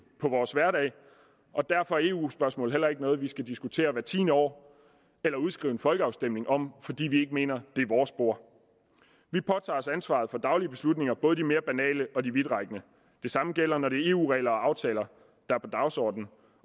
på vores hverdag og derfor er eu spørgsmål ikke noget vi skal diskutere hvert tiende år eller udskrive en folkeafstemning om fordi vi ikke mener det er vores bord vi påtager os ansvaret for de daglige beslutninger både de mere banale og de vidtrækkende det samme gælder når det er eu regler og eu aftaler der er på dagsordenen